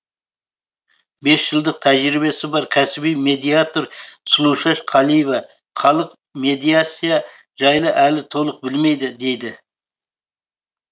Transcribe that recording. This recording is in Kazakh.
бес жылдық тәжірибесі бар кәсіби медиатор сұлушаш қалиева халық медиация жайлы әлі толық білмейді дейді